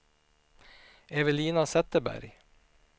Evelina Zetterberg